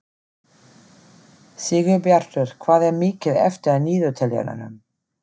Sigurbjartur, hvað er mikið eftir af niðurteljaranum?